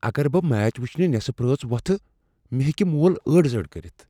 اگر بہٕ میچ وٕچھنہٕ نصف رٲژ وۄتھہٕ مےٚ ہیکِہ مول ٲڈ زٲڈ کٔرِتھ۔